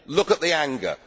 Look at the anger.